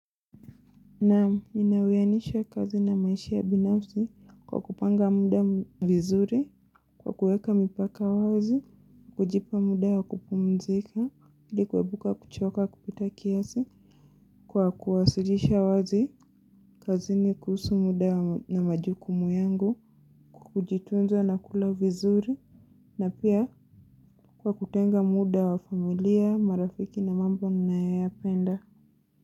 Naam ninawianisha kazi na maisha ya binafsi kwa kupanga muda vizuri, kwa kuweka mipaka wazi, kujipa muda wa kupumzika, ilikuwebuka kuchoka kupita kiasi, kwa kuwasilisha wazi, kazi ni kuhusu muda na majukumu yangu, kukujitunzo na kula vizuri, na pia kwa kutenga muda wa familia, marafiki na mambo ninayopenda.